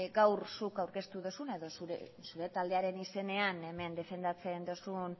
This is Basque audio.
gaur zuk aurkeztu duzuna edo zure taldearen izenean hemen defendatzen duzun